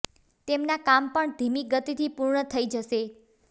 તેમના કામ પણ ધીમી ગતિથી પૂર્ણ થઇ જશે